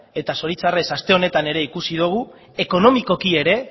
eta zoritxarrez aste honetan ere ikusi dugu ekonomikoki ere